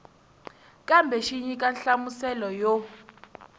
kambe xi nyika nhlamuselo yo